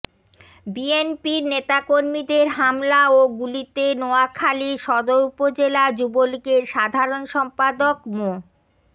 বিএনপির নেতাকর্মীদের হামলা ও গুলিতে নোয়াখালীর সদর উপজেলা যুবলীগের সাধারণ সম্পাদক মো